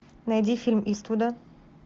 найди фильм иствуда